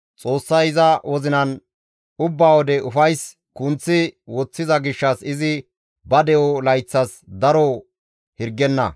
Xoossay iza wozinan ubba wode ufays kunththi woththiza gishshas izi ba de7o layththas daro hirgenna.